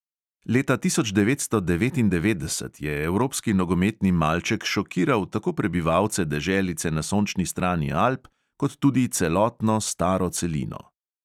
Leta tisoč devetsto devetindevetdeset je evropski nogometni malček šokiral tako prebivalce deželice na sončni strani alp kot tudi celotno staro celino.